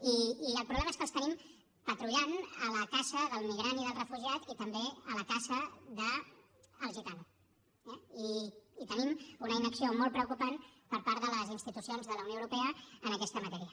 i el problema és que els tenim patrullant a la caça del migrant i del refugiat i també a la caça del gitano eh i tenim una inacció molt preocupant per part de les institucions de la unió europea en aquesta matèria